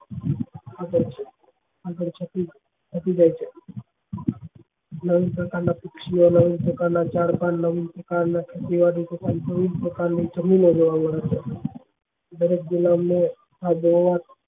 આપે છે નવીન પ્રકાર ના પાક્ષિ ઓ નવીન પ્રકાર ના ઝાડ પાન નવીન પ્રકાર તથા પ્રકાર ની જમીન ઓ